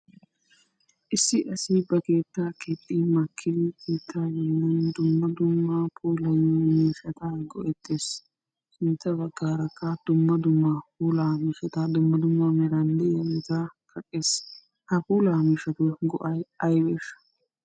Issi asi ba keetta keexxi makkidi keettaa dumma dumma puulayiyo miishshata go"ettees. Sintta baggaarakka dumma dumma puula miishshata dumma dumma meran de'iyaageeta kaqqees. Ha puula miishhshatuy go"ay aybbeshsha?